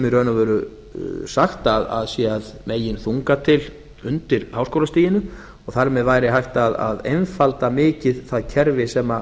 og veru sagt að sé að meginþunga til undir háskólastiginu og þar með væri hægt að einfalda mikið það kerfi sem